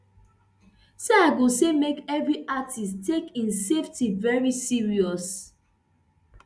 so i go say make evri artiste take im safety veri serious